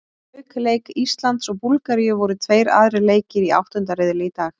Auk leik Íslands og Búlgaríu voru tveir aðrir leikir í áttunda riðli í dag.